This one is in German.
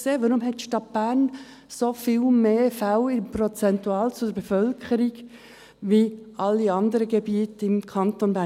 Weshalb hat die Stadt Bern so viel mehr Fälle prozentual zur Bevölkerung als alle anderen Gebiete im Kanton Bern?